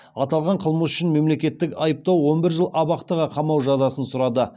аталған қылмыс үшін мемлекеттік айыптау он бір жыл абақтыға қамау жазасын сұрады